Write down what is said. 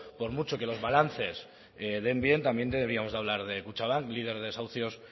por mucho que los balances den bien también deberíamos de hablar de kutxabank líder de desahucios